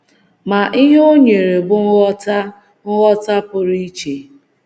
Ma ihe ọ nyere bụ ngwọta ngwọta pụrụ iche.